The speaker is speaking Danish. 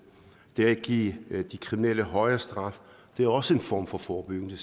det at give de kriminelle højere straf er også en form for forebyggelse